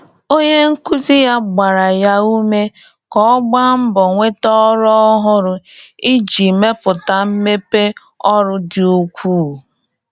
Onye nkuzi ya gbaara ya ume ka ọ gbaa mbọ nweta ọrụ ọhụrụ iji mepụta mmepe ọrụ dị ukwuu.